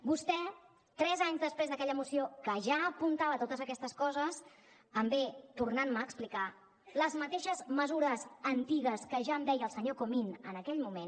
vostè tres anys després d’aquella moció que ja apuntava totes aquestes coses em ve tornant me a explicar les mateixes mesures antigues que ja em deia el senyor comín en aquell moment